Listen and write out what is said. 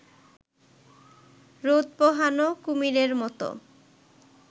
রোদ পোহানো কুমিরের মতো